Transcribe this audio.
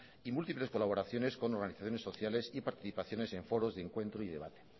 y múltiples colaboraciones con organizaciones sociales y participaciones en foros de encuentro y debate